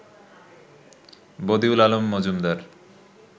Badiul Alam Majumdar